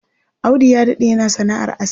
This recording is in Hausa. Audu ya daɗe yana sana'ar aski.